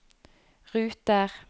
ruter